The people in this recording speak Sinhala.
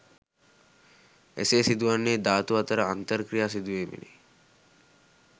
එසේ සිදුවන්නේ ධාතු අතර අන්තර් ක්‍රියා සිදුවීමෙනි